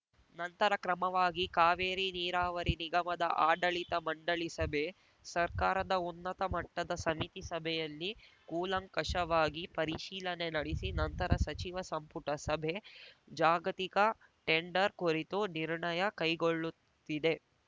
ನಂತರ ಕ್ರಮವಾಗಿ ಕಾವೇರಿ ನೀರಾವರಿ ನಿಗಮದ ಆಡಳಿತ ಮಂಡಳಿ ಸಭೆ ಸರ್ಕಾರದ ಉನ್ನತ ಮಟ್ಟದ ಸಮಿತಿ ಸಭೆಯಲ್ಲಿ ಕೂಲಂಕಷವಾಗಿ ಪರಿಶೀಲನೆ ನಡೆಸಿ ನಂತರ ಸಚಿವ ಸಂಪುಟ ಸಭೆ ಜಾಗತಿಕ ಟೆಂಡರ್‌ ಕುರಿತು ನಿರ್ಣಯ ಕೈಗೊಳ್ಳುತ್ತಿದೆ